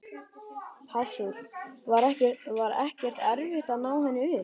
Hafþór: Var ekkert erfitt að ná henni upp?